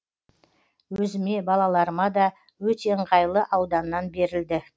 өзіме балаларыма да өте ыңғайлы ауданнан берілді